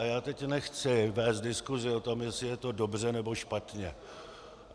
A já teď nechci vést diskusi o tom, jestli je to dobře, nebo špatně.